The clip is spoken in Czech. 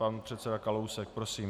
Pan předseda Kalousek, prosím.